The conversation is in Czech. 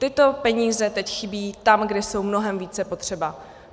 Tyto peníze teď chybí tam, kde jsou mnohem více potřeba.